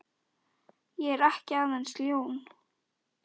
Ég er ekki aðeins ljón.